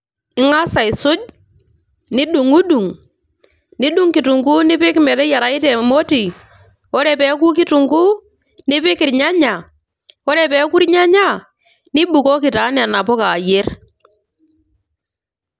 Ingas aisuj ,nidungdung, nidung kitunguu nipik meteyirayu te moti ,ore peku kitunguu ,nipik irnyanya, ore peku irnyanya nibukoki taa nena puka ayier